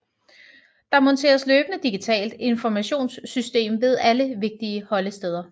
Der monteres løbende digitalt informationssystem ved alle vigtige holdesteder